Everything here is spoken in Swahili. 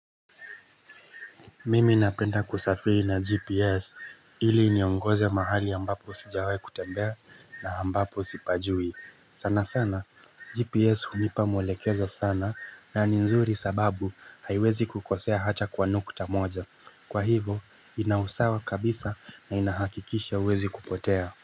Mimi napenda kusafiri na gps ili niongoze mahali ambapo sijawahi kutembea na ambapo sipajui sana sana gps hunipa mwekezo sana na ni nzuri sababu haiwezi kukosea hacha kwa nukta tamoja kwa hivo inausawa kabisa na inahakikisha huwezi kupotea.